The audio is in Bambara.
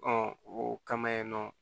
o kama yen nɔ